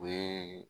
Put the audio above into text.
O ye